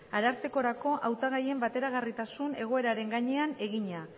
arartekorako hautagaien bateragarritasun egoeraren gainean egina